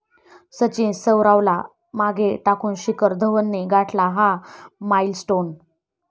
सचिन, सौरवला मागे टाकून शिखर धवनने गाठला 'हा' माईलस्टोन